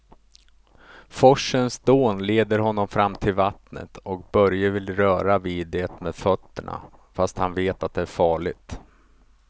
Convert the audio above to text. Forsens dån leder honom fram till vattnet och Börje vill röra vid det med fötterna, fast han vet att det är farligt.